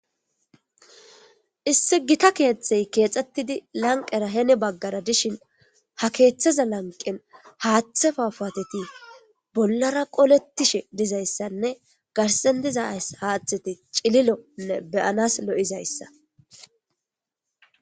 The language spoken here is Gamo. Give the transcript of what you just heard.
isse gita keeththey keexxettidi lanqera hene baggara dishin ha keeththaza lanqen haaththefa paateti bollara qolettishe dizayssanne garsen diza haaththeti cililonne beyanas lo7izayssa